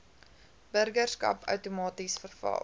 burgerskap outomaties verval